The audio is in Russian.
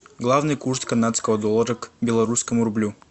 главный курс канадского доллара к белорусскому рублю